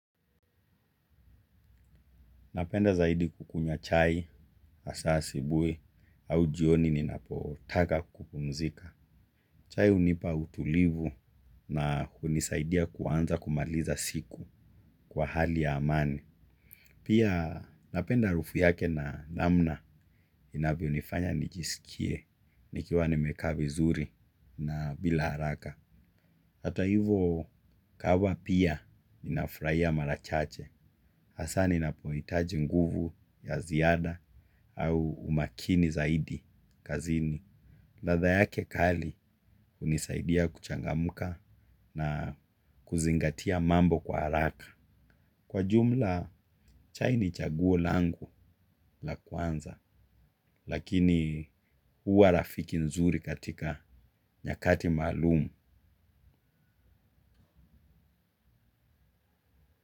Napenda zaidi kukunywa chai, hasa sibui au jioni ninapotaka kukumzika. Chai hunipa utulivu na kunisaidia kuanza kumaliza siku kwa hali ya amani. Pia napenda harufu yake na namna inavyonifanya nijisikie nikiwa nimekaa vizuri na bila haraka. Hata hivo kahawa pia ninafurahia mara chache. Hasa ninapo hitaji nguvu ya ziada au umakini zaidi kazini. Ladha yake kali hunisaidia kuchangamka na kuzingatia mambo kwa haraka. Kwa jumla, chai ni chaguo langu la kwanza. Lakini huwa rafiki nzuri katika nyakati maalumu.